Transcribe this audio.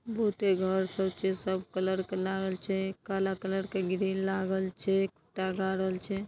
बहुते घर सब छै सब कलर के लागल छै काला कलर के ग्रिल लागल छै----